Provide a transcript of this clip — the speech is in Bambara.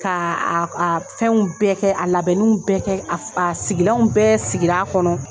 Ka fɛnw bɛɛ kɛ a labɛnninw bɛɛ kɛ a a sigilanw bɛɛ sigir'a kɔnɔ.